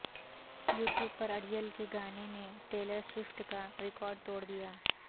you tube پر Adele کے گانے نے ٹیلر سوئفٹ کا ریکارڈ توڑ دیا